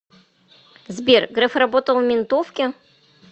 сбер греф работал в ментовке